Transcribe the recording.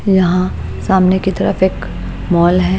यहाँ सामने की तरफ एक मॉल है।